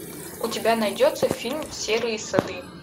у тебя найдется фильм серые сады